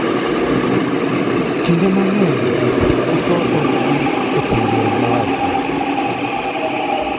Kinde mang'eny jopur uso tong'gi e pinje maoko.